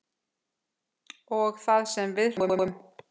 Og það sem við hlógum.